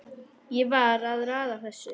Ég var að raða þessu